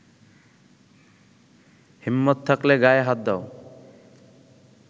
হিম্মত থাকলে গায়ে হাত দাও।